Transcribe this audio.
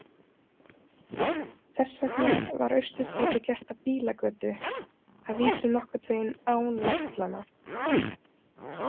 Þess vegna var Austurstræti gert að bílagötu, að vísu nokkurn veginn án verslana.